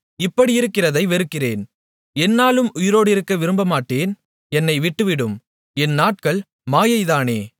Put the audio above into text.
இப்படியிருக்கிறதை வெறுக்கிறேன் எந்நாளும் உயிரோடிருக்க விரும்பமாட்டேன் என்னை விட்டுவிடும் என் நாட்கள் மாயைதானே